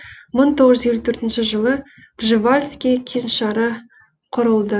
мың тоғыз жүз елу төртінші жылы пржевальский кеңшары құрылды